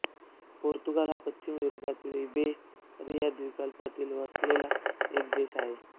Portugal हा पश्चिम युरोपामधील इबेरिया द्वीपकल्पावर वसलेला एक देश आहे